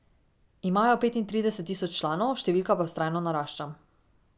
Imajo petintrideset tisoč članov, številka pa vztrajno narašča.